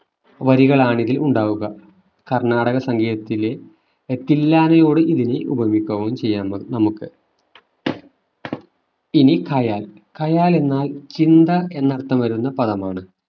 വരികളാണ് ഇതിൽ ഉണ്ടാവുക കർണാടക സംഗീതത്തിലെ തില്ലാനയോട് ഇതിന് ഉപമിക്കാൻ ചെയ്യാവുന്നു നമുക്ക് ഇനി ഖയാൽ ഖയാൽ എന്നാൽ ചിന്ത എന്ന അർത്ഥം വരുന്ന പദമാണ്